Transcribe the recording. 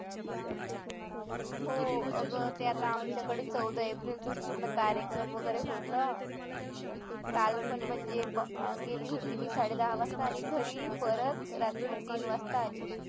हो अग ते आता आमच्याकडे चौदा एप्रिल पूर्ण कार्यक्रम वगैरे होता काल पण म्हणजे गेली होते मी साडे दहा वाजता आणि घरी परत रात्री तीन वाजता आली